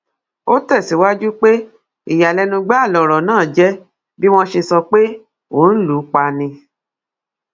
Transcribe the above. ó tẹsíwájú pé ìyàlẹnu gbáà lọrọ náà jẹ bí wọn ṣe sọ pé òun lù ú pa ni